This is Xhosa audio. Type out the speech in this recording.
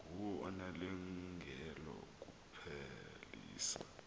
nguwe onelungelo lokuphelisa